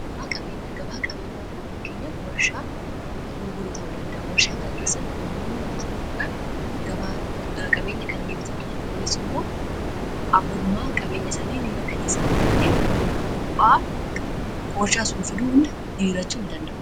gabaa qabeenyaan kun fakkeenya warshaa gurguruu ta'uu danda'a warshaa kana keessatti namoonni walitti dhufuudhaan qabeenya kana ni bitatu kunis immoo abbummaa qabeenya sanii ni mirkaneessaaf wanta'eef bu'aan warshaa sun fiduu hunda hiirachuu danda'u